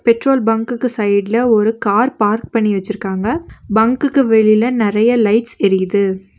Petrol பங்குக்கு சைட்ல ஒரு கார் பார்க் பண்ணி வெச்சிருக்காங்க பங்குக்கு வெளியில நெறைய லைட்ஸ் எரியிது.